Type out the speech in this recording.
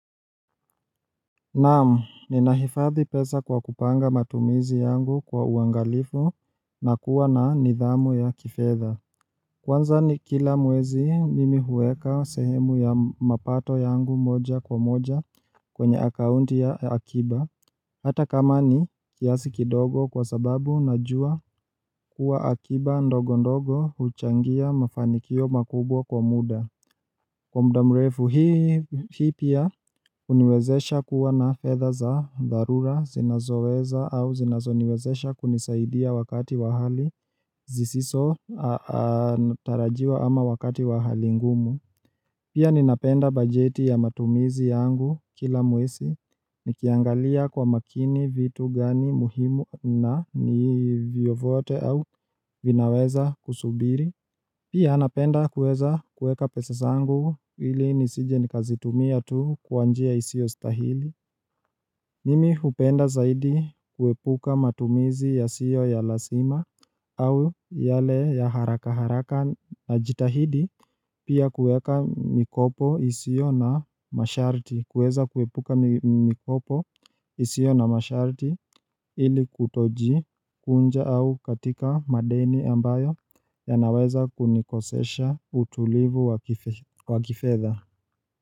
Naamu, ninahifadhi pesa kwa kupanga matumizi yangu kwa uangalifu na kuwa na nidhamu ya kifedha Kwanza ni kila mwezi mimi huweka sehemu ya mapato yangu moja kwa moja kwenye akaunti ya akiba Hata kama ni kiasi kidogo kwa sababu najua kuwa akiba ndogo ndogo huchangia mafanikio makubwa kwa muda Kwa mda mrefu, hii pia uniwezesha kuwa na feather za dharura zinazoweza au zinazoniwezesha kunisaidia wakati wa hali zisiso tarajiwa ama wakati wa hali ngumu. Pia ninapenda bajeti ya matumizi yangu kila mwezi, nikiangalia kwa makini vitu gani muhimu na ni vyovyote au vinaweza kusubiri. Pia anapenda kuweza kuweka pesa zangu ili nisije nikazitumia tu kwa njia isiyostahili Mimi hupenda zaidi kuepuka matumizi yasiyo ya lazima au yale ya haraka haraka najitahidi Pia kueka mikopo isiyo na masharti kueza kuepuka mikopo isiyo na masharti ili kutoji kunja au katika madeni ambayo yanaweza kunikosesha utulivu wa kifedha.